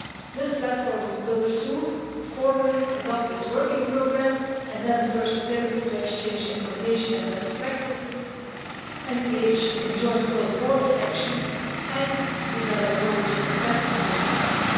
This platform will soon formally adopt its working programme and then the first activities to exchange information and best practices, engage in joint cross-border action and develop knowledge and capacity can start.